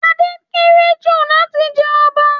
Ade kéré jù láti jẹ ọba